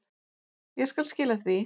Ég skal skila því.